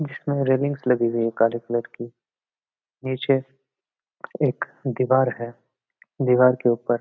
इसमें रेलिंग लगी है काले कलर की नीचे एक दीवार है दीवार के ऊपर --